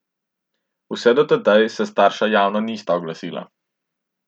Vse od tedaj se starša javno nista oglasila.